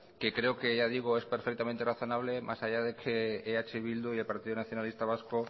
que creo que ya digo es perfectamente razonable más allá de que eh bildu y el partido nacionalista vasco